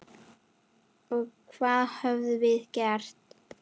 Og það höfum við gert.